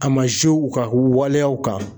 A ma u kan u waleyaw kan.